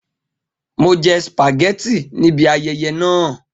Mo jẹ spaghetti ni ibi ayẹyẹ naa